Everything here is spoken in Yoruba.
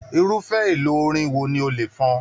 Irufẹ elo orin wo ní o le fọn?